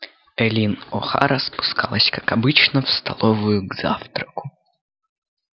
эллин охара спускалась как обычно в столовую к завтраку